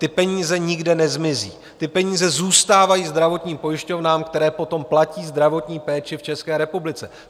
Ty peníze nikde nezmizí, ty peníze zůstávají zdravotním pojišťovnám, které potom platí zdravotní péči v České republice.